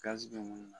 Gazi bɛ minnu na